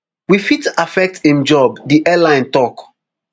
wey fit affect im job di airline tok